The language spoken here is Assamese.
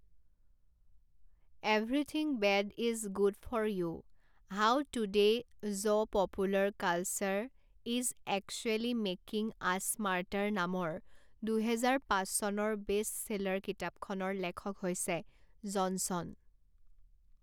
Everything bad is good for you how today's popular culture is actually making us smarter নামৰ দুহেজাৰ পাঁচ চনৰ বেষ্টচেলাৰ কিতাপখনৰ লেখক হৈছে জনছন।